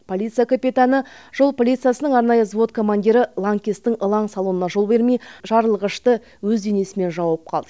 полиция капитаны жол полициясының арнайы взвод командирі лаңкестің ылаң салуына жол бермей жарылғышты өз денесімен жауып қалды